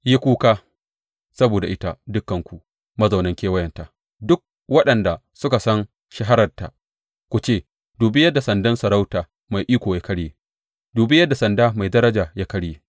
Yi kuka saboda ita, dukanku mazaunan kewayenta, duk waɗanda suka san shahararta; ku ce, Dubi yadda sandan sarauta mai iko ya karye, dubi yadda sanda mai daraja ya karye!’